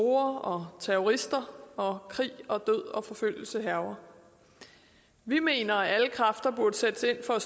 og terrorister og krig og død og forfølgelse hærger vi mener at alle kræfter burde sættes ind for at